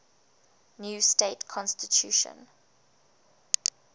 new state constitution